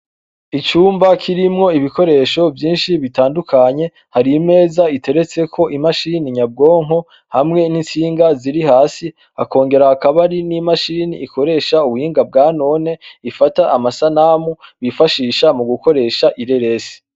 Icumba kirimwo ibikoresho vyinshi bitandukanye hari imeza iteretseko imashini nyabwonko hamwe n'intsinga ziri hasi hakongera hakaba hari n'imashini ikoresha ubuhinga bwa none ifata amasanamu bifashisha mu gukoresha ireresi.